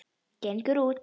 Gengur út.